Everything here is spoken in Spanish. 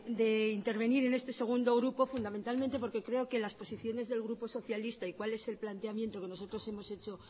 de intervenir en este segundo grupo fundamentalmente porque creo que las posiciones del grupo socialista y cuál es el planteamiento que nosotros hemos hecho